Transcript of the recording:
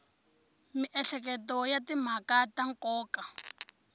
miehleketo ya timhaka ta nkoka